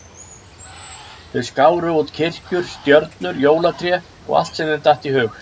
Þau skáru út kirkjur, stjörnur, jólatré og allt sem þeim datt í hug.